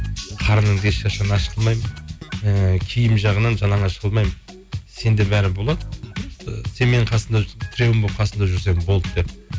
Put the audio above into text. қарныңды ешқашан аш қылмаймын ыыы киім жағынан жалаңаш қылмаймын сенде бәрі болады і сен тіреуім болып қасымда жүрсең болды деп